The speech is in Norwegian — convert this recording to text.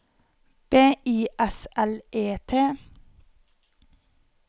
B I S L E T